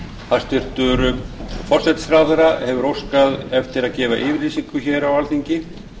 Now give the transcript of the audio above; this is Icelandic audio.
hæstvirtur forsætisráðherra hefur óskað eftir að gefa yfirlýsingu hér á alþingi